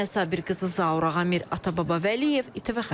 Maya Sabirqızı, Zaur Ağamir, Atababa Vəliyev, İTV xəbər.